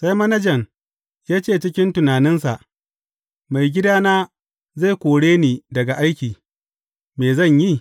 Sai manajan ya ce cikin tunaninsa, Maigidana zai kore ni daga aiki, me zan yi?